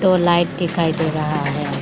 दो लाइट दिखाई दे रहा है।